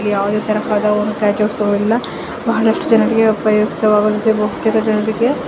ಇಲ್ಲಿ ಬಹಳಷ್ಟು ಜನರಿಗೆ ಉಪಯೋಗವಾಗುವಂತೆ .]